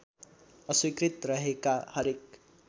अस्वीकृत रहेका हरेक